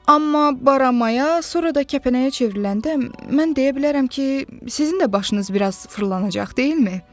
Amma baramaya, sonra da kəpənəyə çevriləndə mən deyə bilərəm ki, sizin də başınız biraz fırlanacaq, deyilmi?